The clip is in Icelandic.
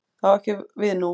Það á ekki við nú.